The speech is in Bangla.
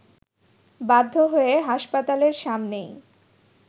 বাধ্য হয়ে হাসপাতালের সামনেই